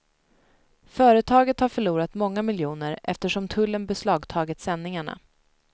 Företaget har förlorat många miljoner eftersom tullen beslagtagit sändningarna.